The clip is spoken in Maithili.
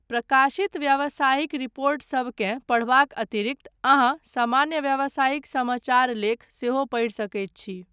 प्रकाशित व्यावसायिक रिपोर्टसबकेँ पढ़बाक अतिरिक्त, अहाँ सामान्य व्यावसायिक समाचार लेख सेहो पढ़ि सकैत छी।